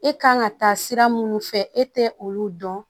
E kan ka taa sira minnu fɛ e tɛ olu dɔn